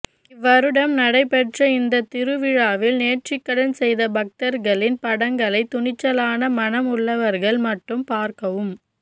இவ்வருடம் நடைபெற்ற இந்த திருவிழாவில் நேர்த்திக்கடன் செய்த பக்தர்களின் படங்களை துணிச்சலான மனம் உள்ளவர்கள் மட்டும் பார்க்கவும்